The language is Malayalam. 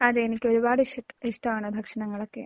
അതെ. എനിക്ക് ഒരുപാട് ഇഷ് ഇഷ്ടമാണ് ഭക്ഷണങ്ങളൊക്കെ.